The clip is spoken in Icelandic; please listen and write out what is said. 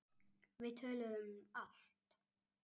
Við töluðum um allt.